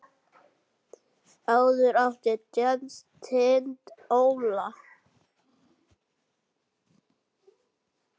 Áður átti Jens Tind Óla.